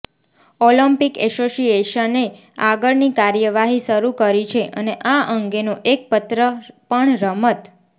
Olympic એસોસિએશને આગળની કાર્યવાહી શરૃ કરી છે અને આ અંગેનો એક પત્ર પણ રમત